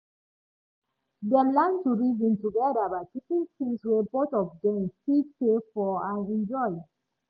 dem learn to reason together by picking things wey both of dem fit pay for and enjoy